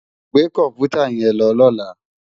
Gbé kòmpútá yèn lò lòlá